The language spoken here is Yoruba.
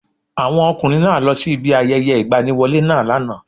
Àwọn ọkùnrin náá lọ sí ibi ayẹyẹ ìgbaniwọlé náà lánàá